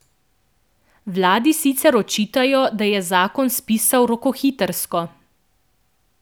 Vladi sicer očitajo, da je zakon spisala rokohitrsko.